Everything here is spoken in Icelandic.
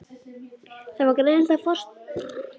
Það var greinilegt að forstöðumaðurinn skildi ekkert hvað